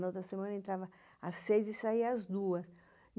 Na outra semana, entrava às seis e saía às duas.